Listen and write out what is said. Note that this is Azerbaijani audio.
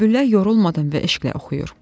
Bülbüllər yorulmadan və eşqlə oxuyur.